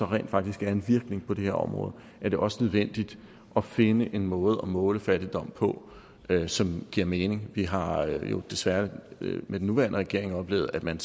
rent faktisk er en virkning på det her område er det også nødvendigt at finde en måde at måle fattigdom på som giver mening vi har jo desværre med den nuværende regering oplevet at man